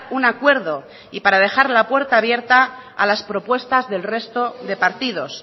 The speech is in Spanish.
un acuerdo y para dejar la puerta abierta a las propuestas del resto de partidos